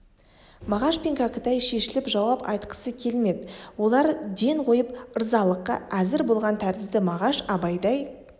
мағаш пен кәкітай шешіліп жауап айтқысы келмеді олар ден қойып ырзалыққа әзір болған тәрізді мағаш абайдай